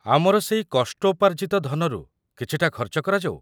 ଆମର ସେଇ କଷ୍ଟୋପାର୍ଜିତ ଧନରୁ କିଛିଟା ଖର୍ଚ୍ଚ କରାଯାଉ।